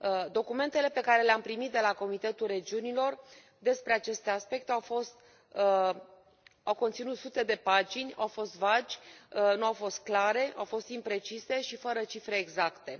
Documentele pe care le am primit de la Comitetul Regiunilor despre aceste aspecte au conținut sute de pagini, au fost vagi, nu au fost clare, au fost imprecise și fără cifre exacte.